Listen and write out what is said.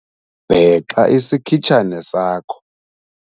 bhexa isikhitshane sakho